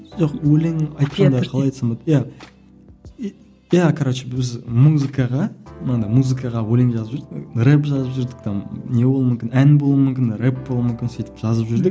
жоқ өлең айтқанда қалай айтсам болады иә иә короче біз музыкаға манандай музыкаға өлең жазып жүрдік рэп жазып жүрдік там не болуы мүмкін ән болуы мүмкін рэп болуы мүмкін сөйтіп жазып жүрдік